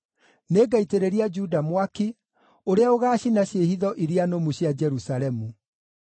Nĩngaitĩrĩria Juda mwaki ũrĩa ũgaacina ciĩhitho iria nũmu cia Jerusalemu.”